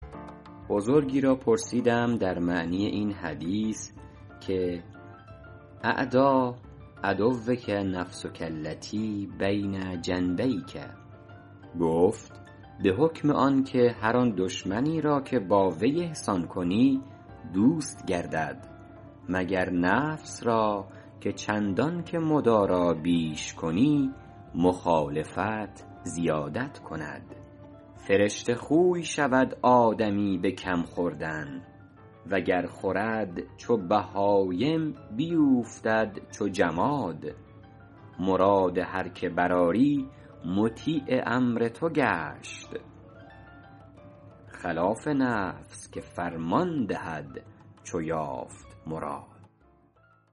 بزرگی را پرسیدم در معنی این حدیث که اعدی عدوک نفسک التی بین جنبیک گفت به حکم آن که هر آن دشمنی را که با وی احسان کنی دوست گردد مگر نفس را که چندان که مدارا بیش کنی مخالفت زیادت کند فرشته خوی شود آدمی به کم خوردن وگر خورد چو بهایم بیوفتد چو جماد مراد هر که برآری مطیع امر تو گشت خلاف نفس که فرمان دهد چو یافت مراد